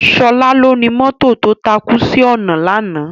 Sola lóni mòtó tó tákú si òná làná